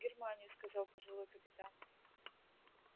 в германию сказал пожилой капитан